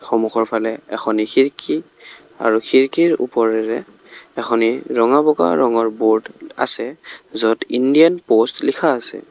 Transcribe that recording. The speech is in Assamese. সন্মুখৰ ফালে এখনি খিৰিকী আৰু খিৰিকীৰ উপৰেৰে এখনি ৰঙা-বগা ৰঙৰ বোৰ্ড আছে য'ত ইণ্ডিয়ান প'ষ্ট লিখা আছে।